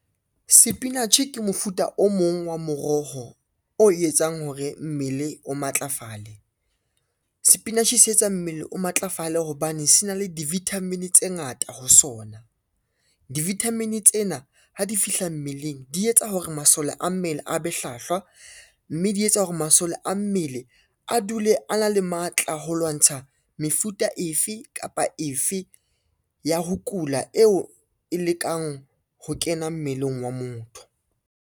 Sepinatjhe ke mofuta o mong wa moroho o etsang hore mmele o matlafale. Sepinatjhe se etsa mmele o matlafale hobane se na le di-vitamin tse ngata ho sona. Di-vitamin tsena ha di fihla mmeleng, di etsa hore masole a mmele a be hlahlwa, mme di etsa hore masole a mmele a dule a na le matla ho lwantsha mefuta efe kapa efe ya ho kula eo e lekang ho kena mmeleng wa motho.